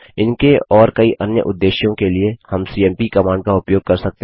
इनके और कई अन्य उद्देश्यों के लिए हम सीएमपी कमांड का उपयोग कर सकते हैं